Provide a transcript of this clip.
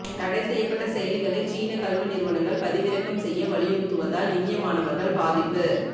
தடை செய்யப்பட்ட செயலிகளை சீன கல்வி நிறுவனங்கள் பதிவிறக்கம் செய்ய வலியுறுத்துவதால் இந்திய மாணவர்கள் பாதிப்பு